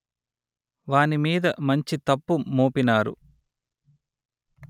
వాని మీద మంచి తప్పు మోపినారు